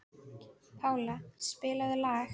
Pála, spilaðu lag.